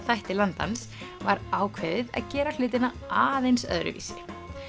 þætti Landans var ákveðið að gera hlutina aðeins öðruvísi